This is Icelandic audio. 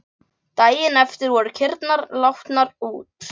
Daginn eftir voru kýrnar látnar út.